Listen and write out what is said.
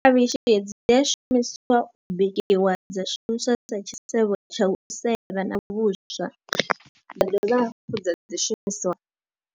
Khavhishi hedzi dzi a shumisiwa u bikiwa, dza shumiswa dza tshisevho tsha u sevha na vhuswa, dza dovha hafhu dza dzi shumisiwa